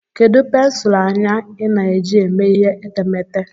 Kedu pensụl anya ị na-eji eme ihe etemeete?